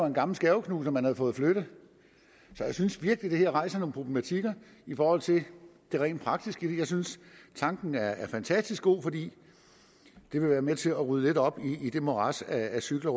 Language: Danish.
en gammel skærveknuser man havde fået fjernet jeg synes virkelig det her rejser nogle problemer i forhold til det rent praktiske men jeg synes tanken er fantastisk god fordi det vil være med til at rydde lidt op i det morads af cykler